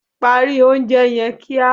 Parí oúnje yen kia